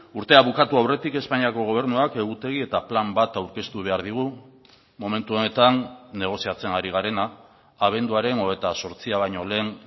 urtea bukatu aurretik espainiako gobernuak egutegi eta plan bat aurkeztu behar digu momentu honetan negoziatzen ari garena abenduaren hogeita zortzia baino lehen